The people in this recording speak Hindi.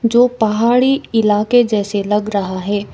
जो पहाड़ी इलाके जैसे लग रहा है।